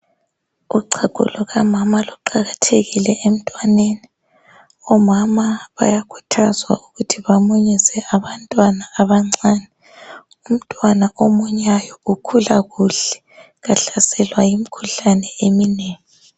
Uchago lukamama luqakathekile emntwaneni, omama bayakhuthazwa ukuthi bamunyise abantwana abancane. Umntwana omunyayo ukhula kuhle, kahlaselwa yimikhuhlane eminingi.